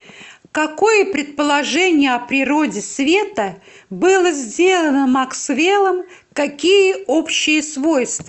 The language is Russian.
какое предположение о природе света было сделано максвеллом какие общие свойства